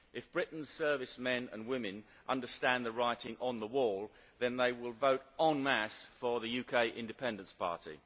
If Britain's service men and women understand the writing on the wall, then they will vote en masse for the United Kingdom Independence Party.